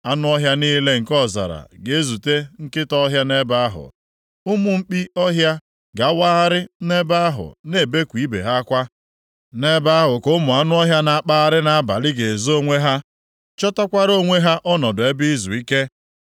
Anụ ọhịa niile nke ọzara ga-ezute nkịta ọhịa nʼebe ahụ. Ụmụ mkpi ọhịa ga-awagharị nʼebe ahụ na-ebeku ibe ha akwa. Nʼebe ahụ ka ụmụ anụ ọhịa na-akpagharị nʼabalị ga-ezo onwe ha, chọtakwara onwe ha ọnọdụ ebe izuike.